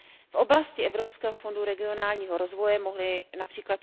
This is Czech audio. V oblasti Evropského fondu regionálního rozvoje mohly např.